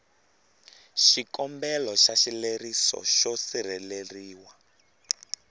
xikombelo xa xileriso xo sirheleriwa